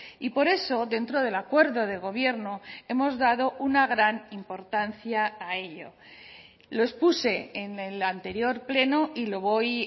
y por eso dentro del acuerdo de gobierno hemos dado una gran importancia a ello lo expuse en el anterior pleno y lo voy